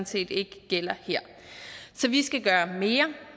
set ikke gælder her så vi skal gøre mere